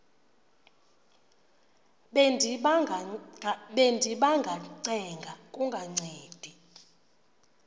bendiba ngacenga kungancedi